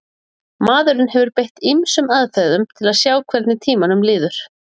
maðurinn hefur beitt ýmsum aðferðum til að sjá hvernig tímanum líður